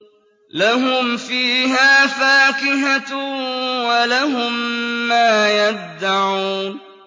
لَهُمْ فِيهَا فَاكِهَةٌ وَلَهُم مَّا يَدَّعُونَ